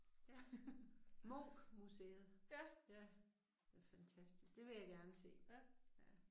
Ja. Munch-museet. Ja. Det er fantastisk, det vil jeg gerne se. Ja